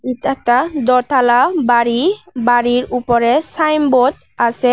এটা একটা দোতালা বাড়ি বাড়ির উপরে সাইনবোদ আসে।